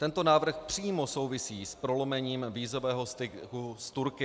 Tento návrh přímo souvisí s prolomením vízového styku s Turky.